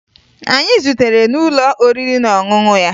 Anyị zutere n'ụlọ oriri na ọṅụṅụ ya